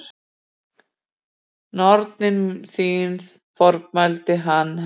Nornin þín formælti hann henni.